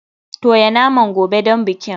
Toya naman gobe don bikin.